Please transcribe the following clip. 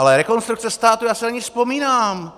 Ale Rekonstrukce státu, já si na ni vzpomínám.